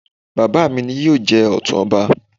Bàbá mi ni yóò jẹ Ọ̀tún ọba